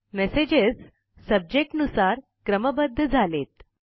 messages subject नुसार क्रमबद्ध झालेत